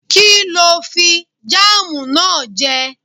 Kí ló fi jáàmù náà jẹ?